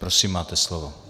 Prosím, máte slovo.